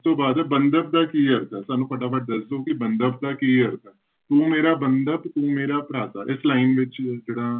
ਇਸ ਤੋਂ ਬਾਅਦ ਬੰਧਪ ਦਾ ਕੀ ਅਰਥ ਹੈ, ਸਾਨੂੰ ਫਟਾਫਟ ਦੱਸ ਦਓ ਕਿ ਬੰਧਪ ਦਾ ਕੀ ਅਰਥ ਹੈ, ਤੂੰ ਮੇਰਾ ਬੰਧਪ ਤੂੰ ਮੇਰਾ ਭ੍ਰਾਤਾ, ਇਸ line ਵਿੱਚ ਜਿਹੜਾ